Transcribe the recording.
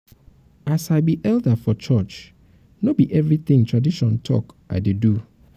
as i be elder um for church no be everytin tradition talk um i dey do.